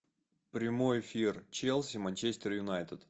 прямой эфир челси манчестер юнайтед